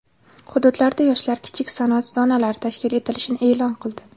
hududlarda Yoshlar kichik sanoat zonalari tashkil etilishini e’lon qildi.